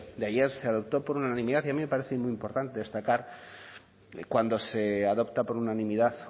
de ayer se adoptó por unanimidad y a mí me parece muy importante destacar cuando se adopta por unanimidad